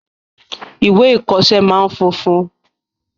Ìwé ìkoọsẹ́ máa n funfun